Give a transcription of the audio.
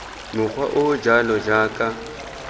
mokgwa o o jalo jaaka